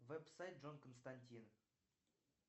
вэб сайт джон костантин